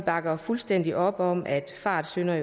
bakker fuldstændig op om at fartsyndere